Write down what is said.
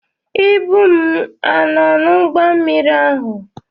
Ibu m a nọ n'ụgbọ mmiri ahụ?